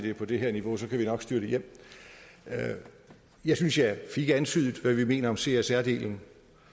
er på det her niveau kan vi nok styre det hjem jeg synes jeg fik antydet hvad vi mener om csr delen